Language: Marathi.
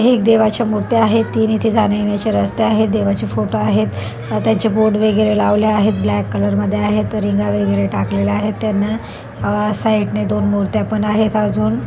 हे एक देवाच्या मुर्त्या आहेत तीन इथे जाण्यायेण्याचे रस्ते आहेत देवाचे फोटो आहेत त्यांचे बोर्ड वगेरे लावले आहेत ब्लॅक कलर मध्ये आहेत रिंग वाघेरे टाकलेल्या आहेत त्यांना अ साईड ने दोन मुर्त्या पण आहेत आजून--